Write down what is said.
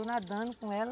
Fui nadando com ela.